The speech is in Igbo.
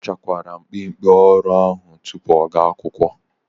O bachakwara mgbimgbi orire ahu tupu ọ ga akwụkwọ?